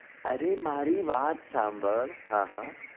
અરે મારી વાત સાંભળ હા હા